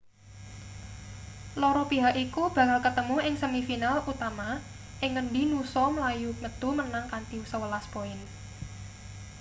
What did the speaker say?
loro pihak iku bakal ketemu ing semi final utama ing ngendi noosa mlayu metu menang kanthi 11 poin